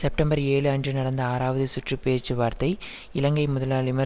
September ஏழு அன்று நடந்த ஆறாவது சுற்று பேச்சுவார்த்தை இலங்கை முதலாளிமார்